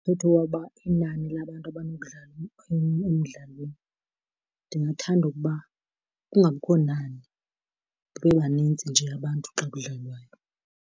Umthetho woba inani labantu abanokudlala emdlalweni. Ndingathanda ukuba kungabikho nani, babe banintsi nje abantu xa kudlalawayo.